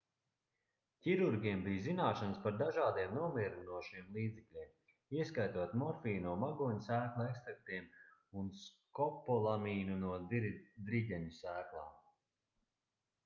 ķirurgiem bija zināšanas par dažādiem nomierinošiem līdzekļiem ieskaitot morfiju no magoņu sēklu ekstraktiem un skopolamīnu no driģeņu sēklām